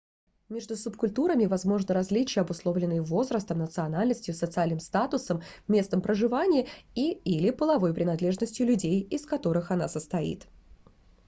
meжду субкультурами возможны различия обусловленные возрастом национальностью социальным статусом местом проживания и/или половой принадлежностью людей из которых она состоит